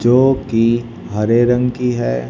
जो कि हरे रंग की है।